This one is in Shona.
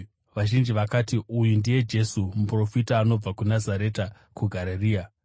Vazhinji vakati, “Uyu ndiye Jesu, muprofita anobva kuNazareta kuGarirea.”